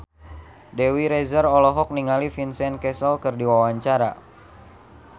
Dewi Rezer olohok ningali Vincent Cassel keur diwawancara